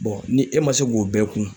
ni e ma se k'o bɛɛ kun.